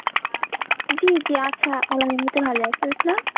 জি জি আছে আলহামদুলিল্লাহ ভালো আছে, আপনার?